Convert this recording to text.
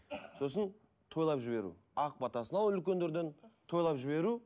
сосын тойлап жіберу ақ батасын алып үлкендерден тойлап жіберу